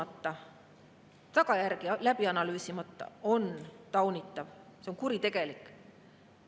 … ja tagajärgi läbi analüüsimata on taunitav, see on kuritegelik.